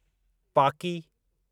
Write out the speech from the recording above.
पाकी